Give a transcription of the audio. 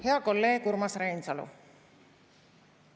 Hea kolleeg Urmas Reinsalu!